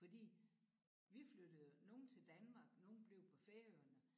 Fordi vi flyttede nogle til Danmark nogle blev på Færøerne